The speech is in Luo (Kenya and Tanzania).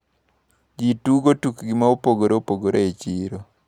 Ji tugo tukni maopogre opogre e chiro.